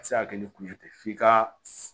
A bɛ se ka kɛ ni kun ye tɛ f'i ka